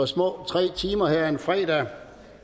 små tre timer her en fredag